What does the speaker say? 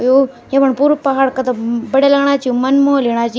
यु येफण पुरु पहाड़ कथा बढ़िया लगणा छी मन मोह लेणा छी।